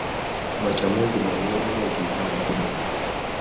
machamun komangunenen kiy agetugul